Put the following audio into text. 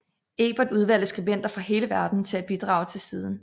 Ebert udvalgte skribenter fra hele verden til at bidrage til siden